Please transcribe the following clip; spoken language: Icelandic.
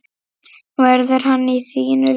Verður hann í þínu liði?